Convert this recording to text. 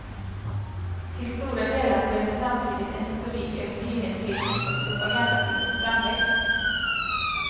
Till stora delar blev det samtidigt en historik över nyhetsfilmens och propagandafilmens framväxt.